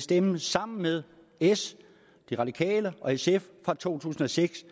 stemme sammen med s de radikale og sf fra to tusind og seks